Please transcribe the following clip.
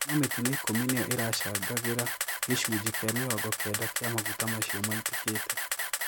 No mitino ikũmi niyo iracangagira gicunji kia mĩrongo kenda kia maguta macio maitikite.